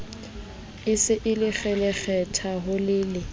e se e kgelekgetha holele